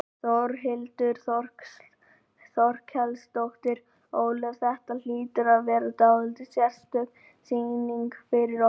Þórhildur Þorkelsdóttir: Ólöf, þetta hlýtur að vera dálítið sérstök sýning fyrir ykkur?